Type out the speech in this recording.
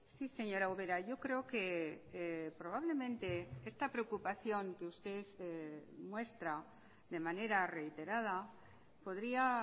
sí señora ubera yo creo que probablemente esta preocupación que usted muestra de manera reiterada podría